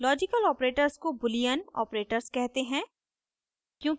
logical operators को boolean operators कहते हैं